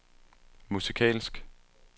musikalsk